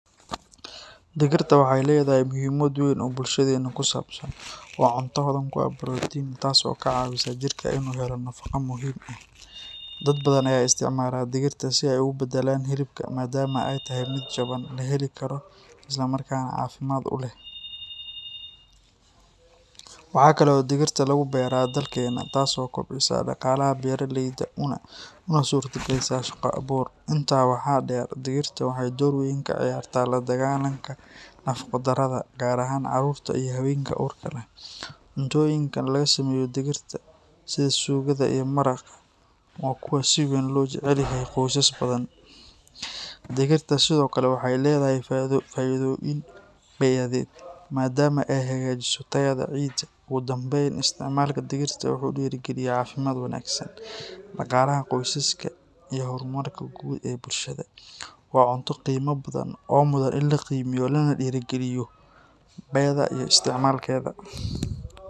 Digirta waxay leedahay muhiimad weyn oo bulshadeenna ku saabsan. Waa cunto hodan ku ah borotiin, taas oo ka caawisa jirka inuu helo nafaqo muhiim ah. Dad badan ayaa isticmaala digirta si ay ugu beddelaan hilibka, maadaama ay tahay mid jaban, la heli karo, isla markaana caafimaad u leh. Waxaa kale oo digirta lagu beeraa dalkeenna, taas oo kobcisa dhaqaalaha beeraleyda una suurtagelisa shaqo abuur. Intaa waxaa dheer, digirta waxay door weyn ka ciyaartaa la dagaalanka nafaqo-darrada, gaar ahaan carruurta iyo haweenka uurka leh. Cuntooyinka laga sameeyo digirta, sida suugada iyo maraqa, waa kuwa si weyn loo jecel yahay qoysas badan. Digirta sidoo kale waxay leedahay faa’iidooyin bey’adeed, maadaama ay hagaajiso tayada ciidda. Ugu dambayn, isticmaalka digirta wuxuu dhiirrigeliyaa caafimaad wanaagsan, dhaqaalaha qoysaska, iyo horumarka guud ee bulshada. Waa cunto qiimo badan oo mudan in la qiimeeyo lana dhiirrigeliyo beeda iyo isticmaalkeeda.